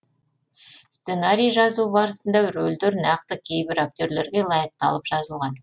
сценарий жазу барысында рөлдер нақты кейбір актерлерге лайықталып жазылған